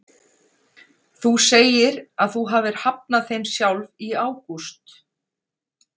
Þú segir að þú hafir hafnað þeim sjálf í ágúst?